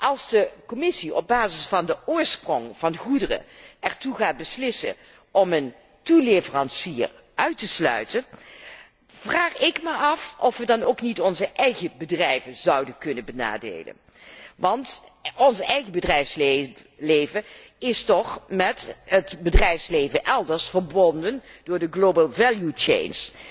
Als de Commissie op basis van de oorsprong van goederen ertoe gaat beslissen een toeleverancier uit te sluiten, vraag ik me af of we dan ook niet onze eigen bedrijven zouden kunnen benadelen, want ons eigen bedrijfsleven is toch met het bedrijfsleven elders verbonden door de global value change